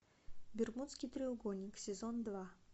бермудский треугольник сезон два